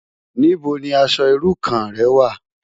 Nibó ni aṣò irú kàn rè wá?